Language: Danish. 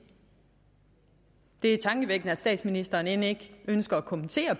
det er tankevækkende at statsministeren end ikke ønsker at kommentere